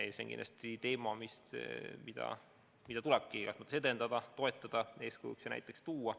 Ja see on kindlasti teema, mida tulebki edendada, toetada, eeskujuks ja näiteks tuua.